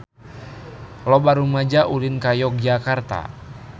Loba rumaja ulin ka Yogyakarta